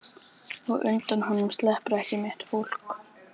Og undan honum sleppur ekki mitt fólk.